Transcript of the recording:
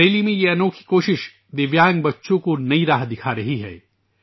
بریلی میں یہ انوکھی کوشش مختلف معذور بچوں کو ایک نیا راستہ دکھا رہی ہے